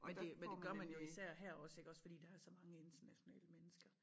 Men det men det gør man jo især her også iggås fordi der er så mange internationale mennesker